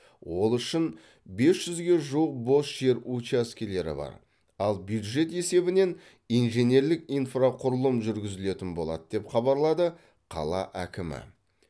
ол үшін бес жүзге жуық бос жер учаскелері бар ал бюджет есебінен инженерлік инфрақұрылым жүргізілетін болады деп хабарлады қала әкімі